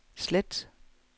slet